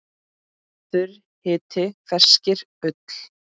Þurr hiti feyskir ull.